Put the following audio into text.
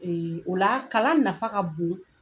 Ee o la kalan nafa ka bon